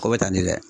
O bɛ ta ni dɛ